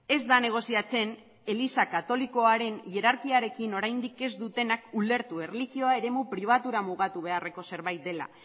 ez da negoziatzen eliza katolikoaren hierarkiarekin oraindik ez dutenak ulertu erlijioa eremu pribatura mugatu beharreko zerbait dela